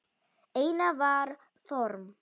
Einar var form.